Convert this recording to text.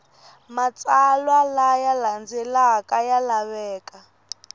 matsalwa laya landzelaka ya laveka